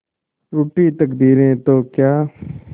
रूठी तकदीरें तो क्या